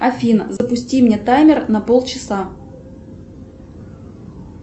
афина запусти мне таймер на полчаса